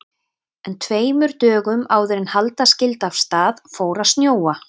En tveimur dögum áður en halda skyldi af stað fór að snjóa.